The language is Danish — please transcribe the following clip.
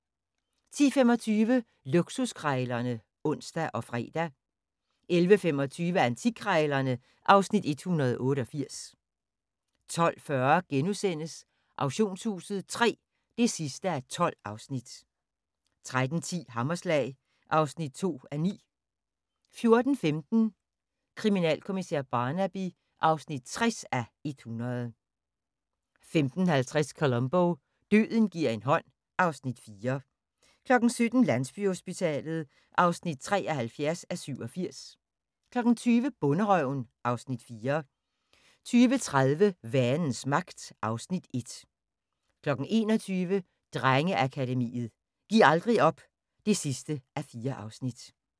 10:25: Luksuskrejlerne (ons og fre) 11:25: Antikkrejlerne (Afs. 188) 12:40: Auktionshuset III (12:12)* 13:10: Hammerslag (2:9) 14:15: Kriminalkommissær Barnaby (60:100) 15:50: Columbo: Døden gi'r en hånd (Afs. 4) 17:00: Landsbyhospitalet (73:87) 20:00: Bonderøven (Afs. 4) 20:30: Vanens Magt (Afs. 1) 21:00: Drengeakademiet – Giv aldrig op (4:4)